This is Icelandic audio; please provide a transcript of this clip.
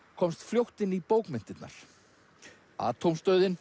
komst fljótt inn í bókmenntirnar